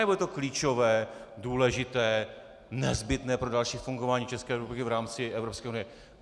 Anebo je to klíčové, důležité, nezbytné pro další fungování České republiky v rámci Evropské unie?